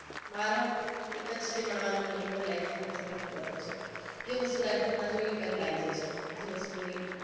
મારા? એક જ છે જે મળવાનુ નહિ મને life માં એ તો મને ખબર જ છે જે વસ્તુ life ના જોઈએ એ પેલા આઈ જાય છે અને જે વસ્તુ નહિ